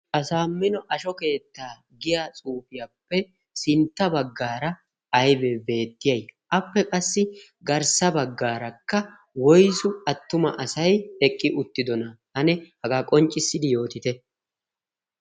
asaammino asho keettaa giya cuufiyaappe sintta baggaara aybee beettiyay appe qassi garssa baggaarakka woiyss attuma asay eqqi uttidona ane hagaa qonccissidi yootite